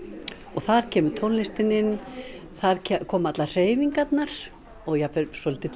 og þar kemur tónlistin inn þar koma allar hreyfingarnar og jafnvel svolítill